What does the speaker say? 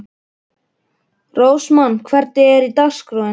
Rósmann, hvernig er dagskráin?